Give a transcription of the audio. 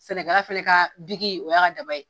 Sɛnɛkɛla fɛnɛ ka o y'a ka daba ye.